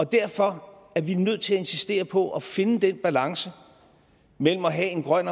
derfor er vi nødt til at insistere på at finde den balance mellem at have en grøn